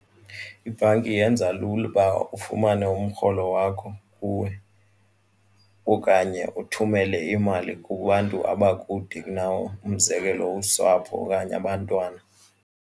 Ibhanki yenza lula uba ufumane umrholo wakho kuwe okanye uthumele imali kubantu abakude kunawe umzekelo usapho okanye abantwana.